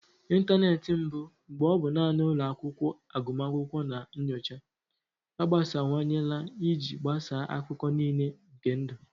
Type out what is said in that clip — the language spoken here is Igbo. Ịntanetị mbụ, mgbe ọ bụ naanị ụlọ akwụkwọ agụmakwụkwọ na nyocha, agbasawanyela iji gbasaa akụkụ niile nke ndụ.